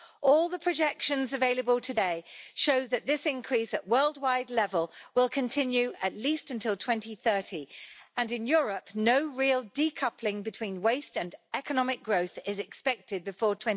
All the projections available today show that this increase at worldwide level will continue at least until 2030, and in Europe no real decoupling between waste and economic growth is expected before